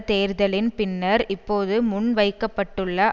தேர்தலின் பின்னர் இப்போது முன் வைக்க பட்டுள்ள